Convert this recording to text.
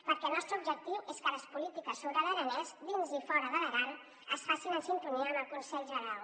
perquè el nostre objectiu és que les polítiques sobre l’aranès dins i fora de l’aran es facin en sintonia amb el conselh generau